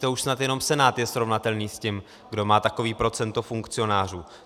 To už snad jenom Senát je srovnatelný s tím, kdo má takové procento funkcionářů.